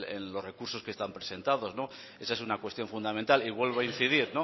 en el los recursos que están presentados esa es una cuestión fundamental y vuelvo a incidir